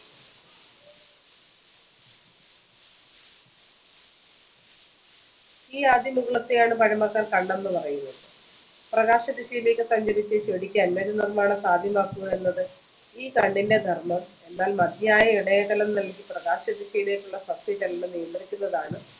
ഈ ആദ്യ മുകുളത്തെയാണ് പഴമക്കാര്‍ കണ്ണെന്നുപറയുന്നത്. പ്രകാശദിശയിലേക്ക് സഞ്ചരിച്ച് ചെടിക്ക് അന്നജനിര്‍മാണം സാധ്യമാക്കുക എന്നത് ഈ കണ്ണിന്റെ ധര്‍മ്മം. എന്നാല്‍ മതിയായ ഇടയകലം നല്‍കി പ്രകാശദിശയിലേക്കുള്ള സസ്യചലനം നിയന്ത്രിക്കുന്നതാണ്